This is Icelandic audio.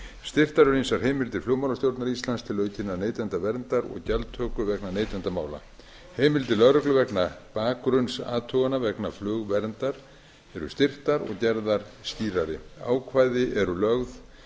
styrktar eru ýmsar heimildir flugmálastjórnar íslands til aukinnar neytendaverndar og gjaldtöku vegna neytendamála heimild til lögreglu vegna bakgrunnsathugana vegna flugverndar eru styrktar og gerðar skýrari ákvæði eru lögð